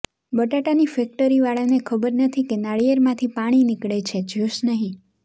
બટાટાંની ફેક્ટરીવાળાને ખબર નથી કે નારિયેળમાંથી પાણી નીકળે જ્યૂસ નહીં